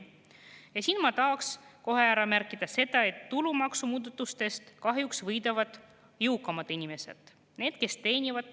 Ja siin ma tahaks kohe ära märkida, et tulumaksumuudatustest kahjuks võidavad jõukamad inimesed.